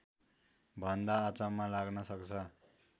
भन्दा अचम्म लाग्न सक्छ